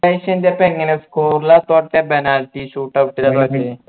ക്രൊയേഷ്യന്റൊപ്പം എങ്ങനെയാ score ല തൊറ്റെ penalty shoot out ല തൊറ്റെ